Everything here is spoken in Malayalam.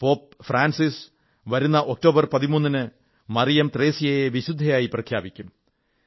പോപ് ഫ്രാൻസിസ് വരുന്ന ഒക്ടോബർ 13 ന് മറിയം ത്രേസ്യയെ വിശുദ്ധയെന്നു പ്രഖ്യാപിക്കും